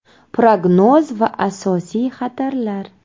Prognoz va asosiy xatarlar.